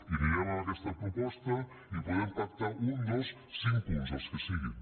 anirem amb aquesta proposta i podem pactar un dos cinc punts el que siguin